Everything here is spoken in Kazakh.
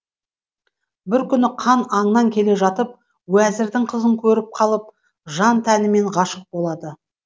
бір күні хан аңнан келе жатып уәзірдің қызын көріп қалып жан тәнімен ғашық болады